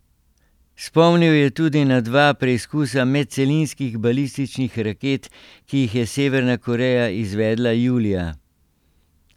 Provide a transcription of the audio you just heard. Spomnil je tudi na dva preizkusa medcelinskih balističnih raket, ki jih je Severna Koreja izvedla julija.